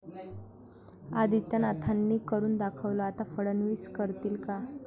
आदित्यनाथांनी 'करून दाखवलं', आता फडणवीस करतील का?